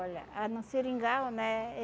Olha, ah no Seringal, né?